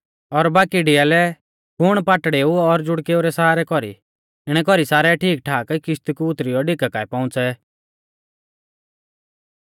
और बाकी डियालै कुण पाटड़ेऊ और ज़ुखडेऊ रै सहारै कौरी इणै कौरी सारै ठीकठाक किश्ती कु उतरियौ ढिका काऐ पौउंच़ै